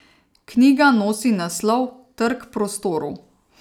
Knjiga nosi naslov Trk prostorov.